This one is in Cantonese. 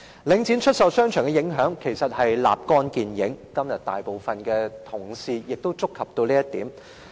領展出售商場的影響其實立竿見影，今天大部分同事亦已觸及這一點。